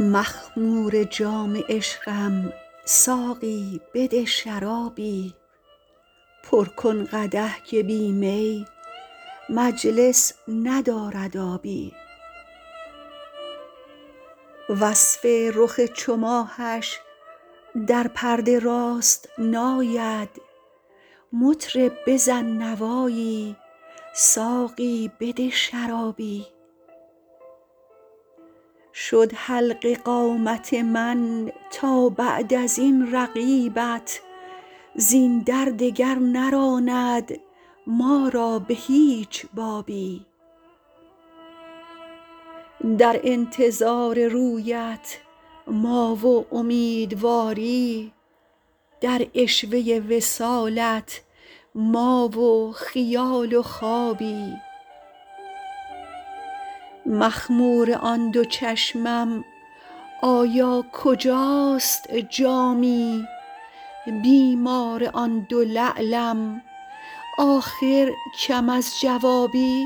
مخمور جام عشقم ساقی بده شرابی پر کن قدح که بی می مجلس ندارد آبی وصف رخ چو ماهش در پرده راست نآید مطرب بزن نوایی ساقی بده شرابی شد حلقه قامت من تا بعد از این رقیبت زین در دگر نراند ما را به هیچ بابی در انتظار رویت ما و امیدواری در عشوه وصالت ما و خیال و خوابی مخمور آن دو چشمم آیا کجاست جامی بیمار آن دو لعلم آخر کم از جوابی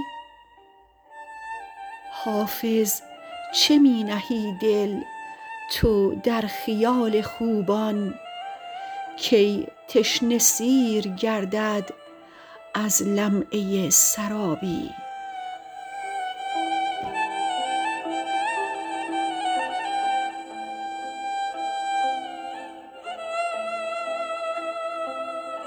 حافظ چه می نهی دل تو در خیال خوبان کی تشنه سیر گردد از لمعه سرابی